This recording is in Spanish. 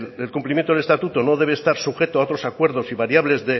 el cumplimiento del estatuto no debe estar sujeto a otros acuerdos y variables